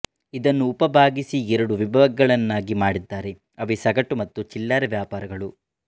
ಇದನ್ನು ಉಪ ಭಾಗಿಸಿ ಎರಡು ವಿಭಾಗಗಳನ್ನಾಗಿ ಮಾಡಿದ್ದಾರೆ ಅವೆ ಸಗಟು ಮತ್ತು ಚಿಲ್ಲರೆ ವ್ಯಾಪಾರಗಳು